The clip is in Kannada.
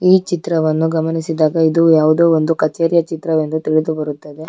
ಈ ಚಿತ್ರವನ್ನು ಗಮನಿಸಿದಾಗ ಇದು ಯಾವುದೋ ಒಂದು ಕಚೇರಿಯ ಚಿತ್ರವೆಂದು ತಿಳಿದು ಬರುತ್ತದೆ.